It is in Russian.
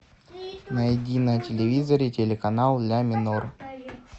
найди на телевизоре телеканал ля минор